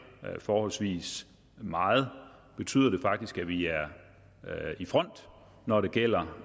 forholdsvis meget betyder det faktisk at vi er i front når det gælder